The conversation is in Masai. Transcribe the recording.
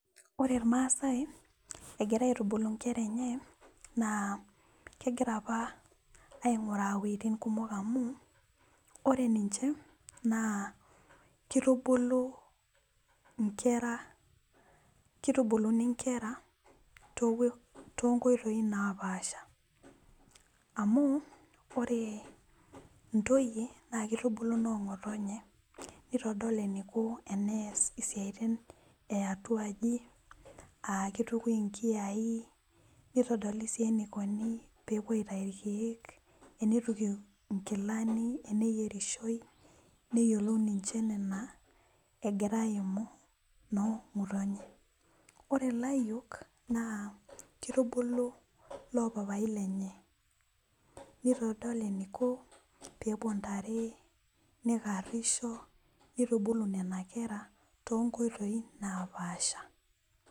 ore ilmasaai egira aitubulu inkera enye naa kegira apa aing'uraa iwejitin kumok oleng' amu ore ninche naa kitubulu inkera, kitubuluni inkera too nkoitoi naa paasha amu oree intoyie naa kitubulu noo ng'otonye nitodol eniko tenees isiaitin , eyatuaji aa kitukui inkiyai nitodolisii enikoni pee epuo aitayu ilkeek , enituku ing'ilani, eneyierishoi, neyiolou ninche nena agira aimu noo ng'otonye , ore ilayiok naa kitubulu loo papai lenye, nitodol eniko pee epuo intare, nikarisho , nitubulu nena kera too nkoitoi naapasha.